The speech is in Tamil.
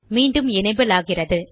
மீண்டும் எனபிள் ஆகிறது